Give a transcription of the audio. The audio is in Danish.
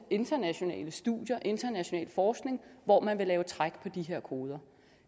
internationale studier international forskning hvor man vil lave træk på de her koder